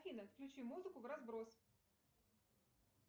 афина включи музыку в разброс